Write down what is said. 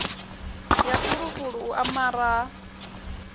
ya fulufulu u amara ha